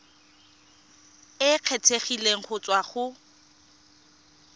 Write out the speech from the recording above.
e kgethegileng go tswa go